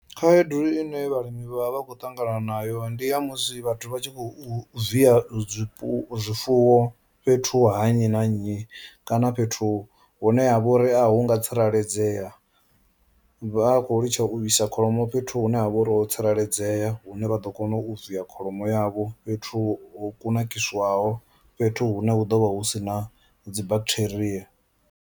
Khaedu ine vhalimi vha vha vha khou ṱangana nayo ndi ya musi vhathu vha tshi khou viya zwifhu zwifuwo fhethu ha nnyi na nnyi kana fhethu hune ha vha uri a hu ngo tsireledzea, vha khou litsha u isa kholomo fhethu hune ha vha uri ho tsireledzea hune vha ḓo kona u viya kholomo yavho fhethu ho kunakiswaho fhethu hune ha ḓo vha hu si na dzi bacteria.